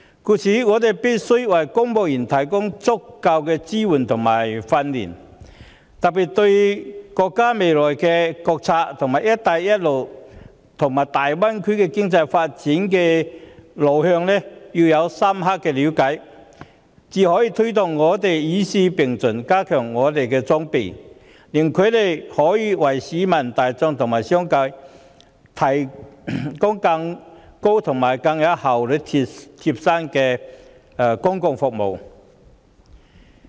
因此，我們必須為公務員提供足夠的支援和訓練，尤其應加深他們對國家未來國策、"一帶一路"，以及粵港澳大灣區經濟發展路向的了解，藉着加強公務員的裝備，才可有效推動與時並進，令他們可以為市民大眾和商界提供更具效率及更貼心的公共服務。